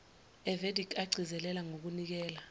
evedic agcizelela ngokunikela